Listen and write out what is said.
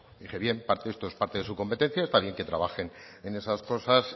dije bien esto es parte de su competencia está bien que trabajen en esas cosas